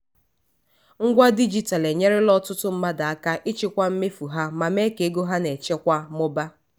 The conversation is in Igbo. ngwa dijitalụ enyerela ọtụtụ mmadụ aka ịchịkwa mmefu ha ma mee ka ego ha na-echekwa mụbaa.